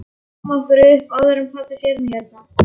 Drífum okkur upp áður en pabbi sér þig hérna